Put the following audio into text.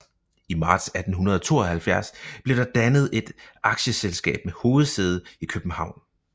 I marts 1872 blev der dannet et aktieselskab med hovedsæde i København